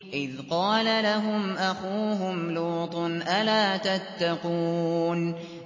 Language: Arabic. إِذْ قَالَ لَهُمْ أَخُوهُمْ لُوطٌ أَلَا تَتَّقُونَ